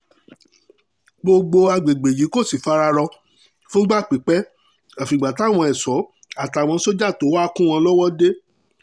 gbogbo àgbègbè yìí kò sì fara rọ fúngbà pípẹ́ àfìgbà táwọn ẹ̀ṣọ́ àtàwọn sójà tó wàá kún wọn lọ́wọ́ dé